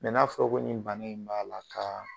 n'a fɔra ko nin bana in b'a la ka